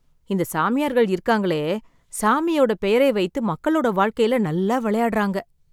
இந்த சாமியார்கள் இருக்காங்களே சாமியோட பெயரை வைத்து மக்களோட வாழ்க்கையில நல்லா விளையாடுறாங்க